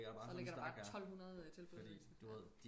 så ligger der bare tolvhundrede tilbudsaviser ja